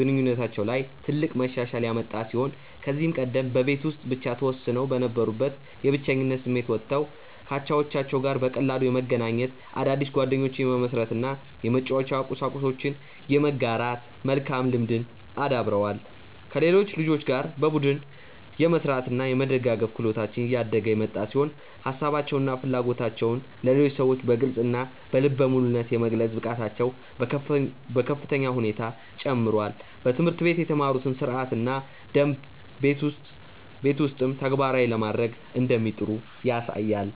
ግንኙነታቸው ላይ ትልቅ መሻሻል ያመጣ ሲሆን ከዚህ ቀደም በቤት ውስጥ ብቻ ተወስነው ከነበሩበት የብቸኝነት ስሜት ወጥተው ከአቻዎቻቸው ጋር በቀላሉ የመገናኘት፣ አዳዲስ ጓደኞችን የመመስረት እና የመጫወቻ ቁሳቁሶችን የመጋራት መልካም ልምድን አዳብረዋል። ከሌሎች ልጆች ጋር በቡድን የመስራት እና የመደጋገፍ ክህሎታቸው እያደገ የመጣ ሲሆን ሀሳባቸውን እና ፍላጎቶቻቸውን ለሌሎች ሰዎች በግልፅ እና በልበ ሙሉነት የመግለጽ ብቃታቸውም በከፍተኛ ሁኔታ ጨምሯል። በትምህርት ቤት የተማሩትን ሥርዓትና ደንብ ቤት ውስጥም ተግባራዊ ለማድረግ እንደሚጥሩ ያሳያል።